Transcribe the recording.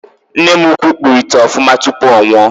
Nne m ukwu kpụrụ ite ofuma tupu ọ nwụọ.